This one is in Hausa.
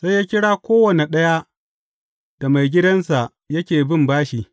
Sai ya kira kowane ɗaya da maigidansa yake bin bashi.